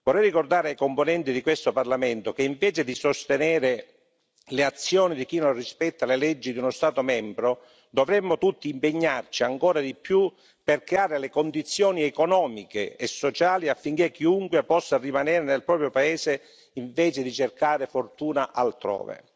Vorrei ricordare ai componenti di questo Parlamento che, invece di sostenere le azioni di chi non rispetta le leggi di uno Stato membro, dovremmo tutti impegnarci ancora di più per creare le condizioni economiche e sociali affinché chiunque possa rimanere nel proprio paese, invece di cercare fortuna altrove.